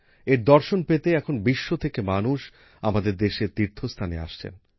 এর দর্শন পেতে এখন বিশ্ব থেকে মানুষ আমাদের দেশের তীর্থস্থানে আসছেন